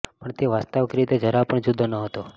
પણ તે વાસ્તવિક રીતે જરા પણ જુદો ન હતો